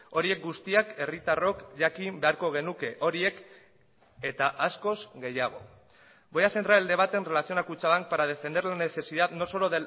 horiek guztiak herritarrok jakin beharko genuke horiek eta askoz gehiago voy a centrar el debate en relación a kutxabank para defender la necesidad no solo